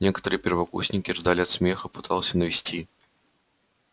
некоторые первокурсники рыдали от смеха а перси пытался навести порядок